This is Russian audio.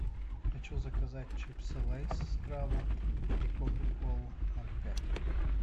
хочу заказать чипсы лейс с крабом и кока колу ноль пять